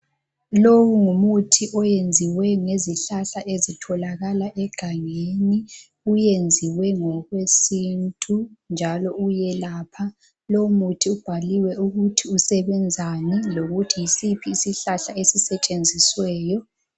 Lowu ngumuthi oyenziwe ngezihlahla ezitholakala egangeni, uyenziwe ngokwesintu njalo uyelapha, lo muthi ubhaliwe ukuthi usebenzani lokuthi yisiphi isihlahla esisetshenzisweyo.